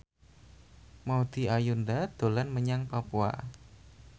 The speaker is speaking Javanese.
Maudy Ayunda dolan menyang Papua